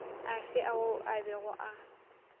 afe ao a bego a